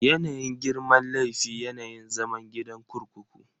Yanayin girman laifi, yanayin zaman gidan kurkuku.